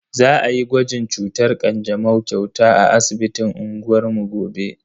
Za ayi gwajin cutar kanjamau kyauta a asibitin unguwar mu gobe.